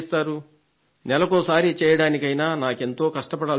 నెలకోసారి చేయడానికైనా నాకెంతో కష్టపడాల్సి వస్తోంది